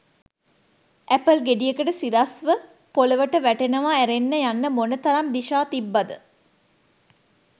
Apple ගෙඩියට සිරස්ව පොලොවට වැටෙනව ඇරෙන්න යන්න මොන තරම් දිශා තිබ්බද?